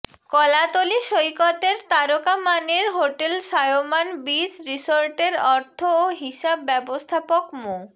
কলাতলি সৈকতের তারকা মানের হোটেল সায়মান বীচ রিসোর্টের অর্থ ও হিসাব ব্যবস্থাপক মো